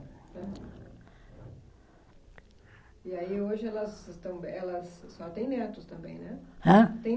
E aí hoje elas estão, elas, a senhora têm netos também, né? Hã? Tem